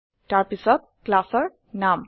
তাৰ পাছত classৰ নাম